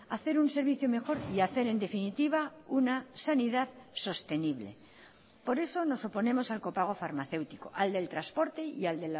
a hacer un servicio mejor y a hacer en definitiva una sanidad sostenible por eso nos oponemos al copago farmacéutico al del transporte y al